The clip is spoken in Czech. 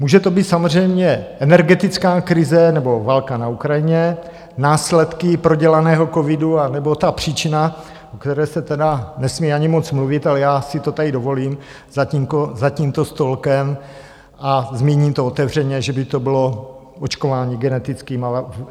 Může to být samozřejmě energetická krize, nebo válka na Ukrajině, následky prodělaného covidu, anebo ta příčina, o které se tedy nesmí ani moc mluvit, ale já si to tady dovolím za tímto stolkem a zmíním to otevřeně, že by to bylo očkování genetickými vakcínami.